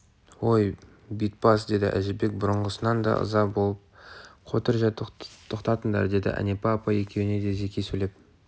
ой бит бас деді әжібек бұрынғысынан да ыза болып қотыр жә тоқтатыңдар деді әнипа апай екеуіне де зеки сөйлеп